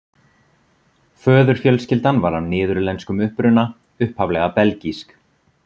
Föðurfjölskyldan var af niðurlenskum uppruna, upphaflega belgísk.